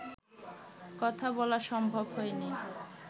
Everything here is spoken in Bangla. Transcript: কথা বলা সম্ভব হয়নি